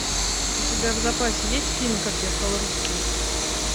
у тебя в запасе есть фильм как я стал русским